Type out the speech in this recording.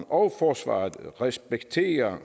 og forsvaret respekterer